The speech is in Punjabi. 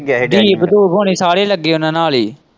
ਦੀਪ ਦੂਪ ਹੁਣੇ ਸਾਰੇ ਹੀ ਲੱਗੇ ਉਹਨਾਂ ਨਾਲ ਹੀ।